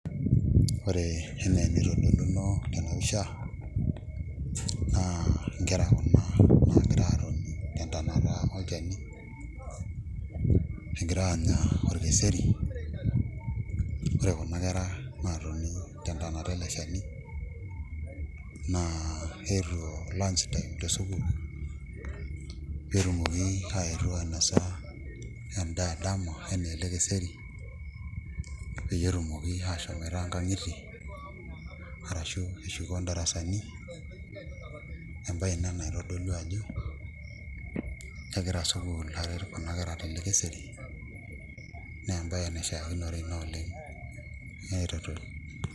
Ore enaa enitodoluno tena pisha naa nkera kuna naagira aatoni tentanata olchani egira aanya orkeseri ore kuna kera naatoni tentanata ele shani naa keetuo lunch time tesukuul netumoki aetu ainasa endaa edama enaa ele keseri peyie etumoki aashomoita nkang'itie arashu eshuko ndarasani embaye ina naitodolu ajo kegira sukuul aret kuna kera tele keseri naa embaye naishiakinore ina oleng' ereteto.